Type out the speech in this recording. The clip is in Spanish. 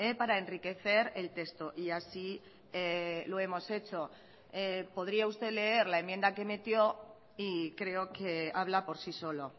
para enriquecer el texto y así lo hemos hecho podría usted leer la enmienda que metió y creo que habla por sí solo